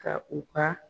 Ka u ka